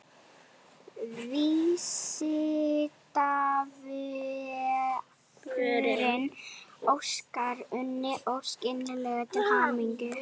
Vísindavefurinn óskar Unni Ósk innilega til hamingju.